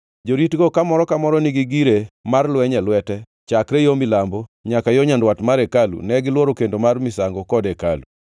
Joritgo, ka moro ka moro nigi gire mar lweny e lwete, chakre yo milambo nyaka yo nyandwat mar hekalu ka gilworo kendo mar misango kod hekalu.